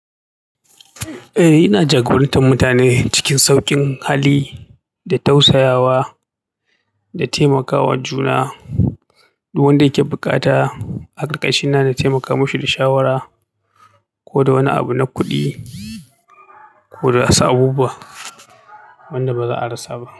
Eh, ina jagorantar mutane cikin sauƙin hali da tausayawa da taimakawa juna. Duk wanda yake buƙata a ƙarƙashina na taimaka mashi da shawara ko da wani abu na kuɗi koda wasu abubuwa wanda baza a rasa ba.